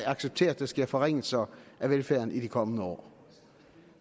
acceptere at der sker forringelser af velfærden i de kommende år